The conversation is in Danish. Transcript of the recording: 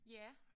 Ja